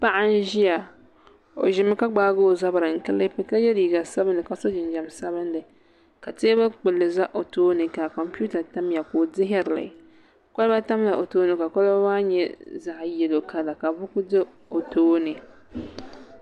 Paɣa n ʒiya o ʒimi ka gbaagi o zabiri n kiliipi ka yɛ liiga sabinli ka so jinjɛm sabinli ka teebuli kpulli ʒɛ o tooni ka kompiuta tamya ka o dihirili kolba tamla o tooni ka kolba maa nyɛ zaɣ yɛlo kala ka buku do o tooni